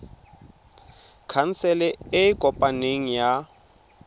khansele e e kopaneng ya